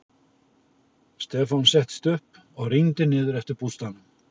Stefán settist upp og rýndi niður eftir að bústaðnum.